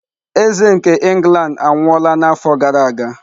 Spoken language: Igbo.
Eze nke England anwụọla n'afọ gara aga?